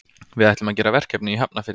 Við ætlum að gera verkefni í Hafnarfirði.